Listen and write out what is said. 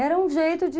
Era um jeito de...